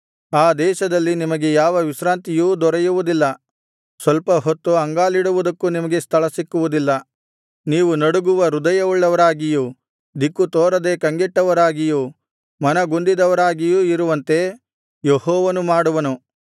ಆ ದೇಶಗಳಲ್ಲಿ ನಿಮಗೆ ಯಾವ ವಿಶ್ರಾಂತಿಯೂ ದೊರೆಯುವುದಿಲ್ಲ ಸ್ವಲ್ಪ ಹೊತ್ತು ಅಂಗಾಲಿಡುವುದಕ್ಕೂ ನಿಮಗೆ ಸ್ಥಳಸಿಕ್ಕುವುದಿಲ್ಲ ನೀವು ನಡುಗುವ ಹೃದಯವುಳ್ಳವರಾಗಿಯೂ ದಿಕ್ಕುತೋರದೆ ಕಂಗೆಟ್ಟವರಾಗಿಯೂ ಮನಗುಂದಿದವರಾಗಿಯೂ ಇರುವಂತೆ ಯೆಹೋವನು ಮಾಡುವನು